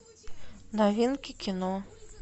новинки кино